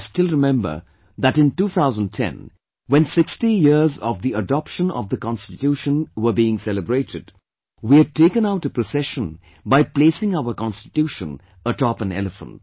I still remember that in 2010 when 60 years of the adoption of the Constitution were being celebrated, we had taken out a procession by placing our Constitution atop an elephant